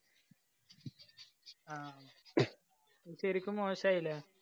ആ ശരിക്കും മോശായില്ലേ?